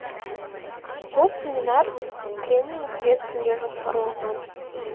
бұл семинар тренинг бес күнге жоспарланған